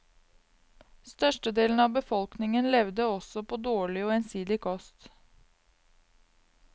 Størstedelen av befolkningen levde også på dårlig og ensidig kost.